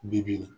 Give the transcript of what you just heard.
Bi bi in na